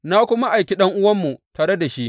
Na kuma aiki ɗan’uwanmu tare da shi.